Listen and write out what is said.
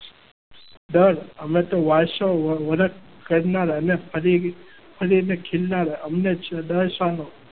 ડર અમે તો વાસો વરત કરનાર અને ફરી ફરીને ખીલનાર અમને ડર સાનો?